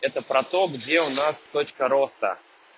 это про то где у нас точка роста